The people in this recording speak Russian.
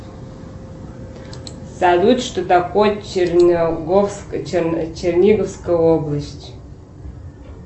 салют что такое черниговская область